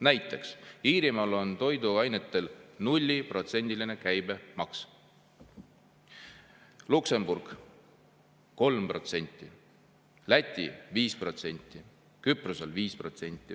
Näiteks Iirimaal on toiduainete käibemaks 0%, Luksemburgis 3%, Lätis 5%, Küprosel 5%.